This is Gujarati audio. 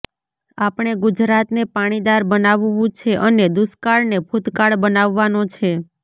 આપણે ગુજરાતને પાણીદાર બનાવવું છે અને દુષ્કાળને ભૂતકાળ બનાવવાનો છે